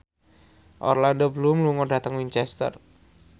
Orlando Bloom lunga dhateng Winchester